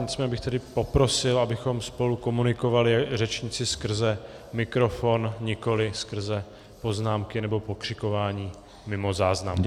Nicméně bych tedy poprosil, abychom spolu komunikovali, řečníci, skrze mikrofon, nikoliv skrze poznámky nebo pokřikování mimo záznam.